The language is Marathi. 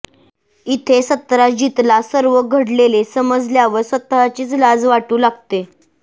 इथे सत्राजितला सर्व घडलेले समजल्यावर स्वतःचीच लाज वाटू लागते